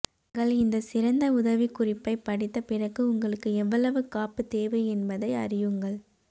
நீங்கள் இந்த சிறந்த உதவிக்குறிப்பைப் படித்த பிறகு உங்களுக்கு எவ்வளவு காப்பு தேவை என்பதை அறியுங்கள்